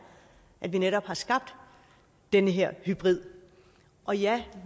at vi netop har skabt den her hybrid og ja